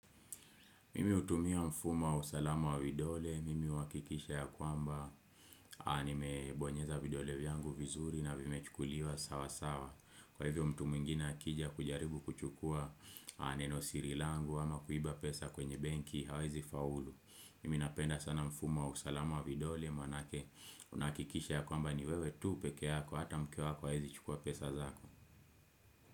Mimi hutumia mfuma usalama widole, mimi wakikisha ya kwamba nime bonyeza vidole vyangu vizuri na vimechukuliwa sawa sawa. Kwa hivyo mtu mwingine akija kujaribu kuchukua neno siri langu ama kuiba pesa kwenye benki hawezi faulu. Mimi napenda sana mfumo usalama wavidole, maanake unahakikisha ya kwamba niwewe tu peke yako, hata mke hawezi chukua pesa zako.